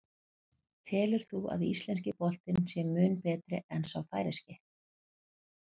Telur þú að íslenski boltinn sé mun betri en sá færeyski?